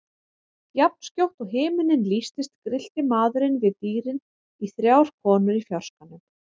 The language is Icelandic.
Jafnskjótt og himinninn lýstist grillti maðurinn við dýrin í þrjár konur í fjarskanum.